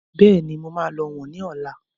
Bẹ́ẹ̀ni, mo máa lọ wọ̀n ni ọ̀la.